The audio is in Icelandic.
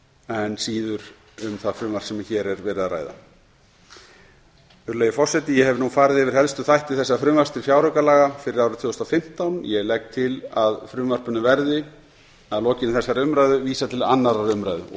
en síður um það frumvarp sem hér er verið að ræða virðulegi forseti ég hef nú farið yfir helstu þætti þessa frumvarps til fjáraukalaga fyrir árið tvö þúsund og fimmtán ég legg til að frumvarpinu verði að lokinni þessari umræðu vísað til annarrar umræðu og